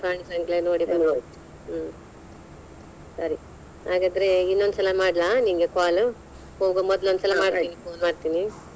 ಪ್ರಾಣಿಸಂಗ್ರಹಾಲಯ ನೋಡಿ ಹ್ಮ್‌ ಹುಂ ಸರಿ ಹಾಗಾದರೆ ಇನ್ನೊಂದ್ ಸಲಾ ಮಾಡ್ಲಾ ನಿಂಗೆ call ಹೋಗೋ ಮೊದ್ಲು ಒಂದ್ಸಲ ಮಾಡ್ತೀನಿ .